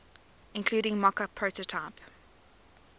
including mockup prototype